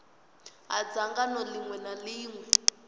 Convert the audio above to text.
ha dzangano ḽiṅwe na ḽiṅwe